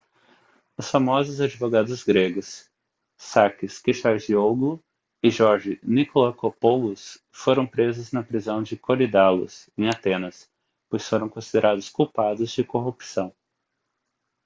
os famosos advogados gregos sakis kechagioglou e george nikolakopoulos foram presos na prisão de korydallus em atenas pois foram considerados culpados de corrupção